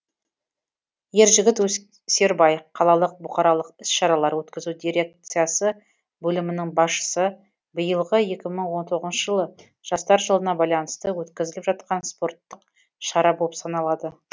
ержігіт өсербай қалалық бұқаралық іс шаралар өткізу дирекциясы бөлімінің басшысы биылғы екі мың он тоғызыншы жылы жастар жылына байланысты өткізіліп жатқан спорттық шара болып саналады